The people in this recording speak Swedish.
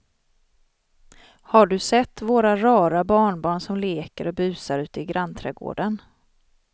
Har du sett våra rara barnbarn som leker och busar ute i grannträdgården!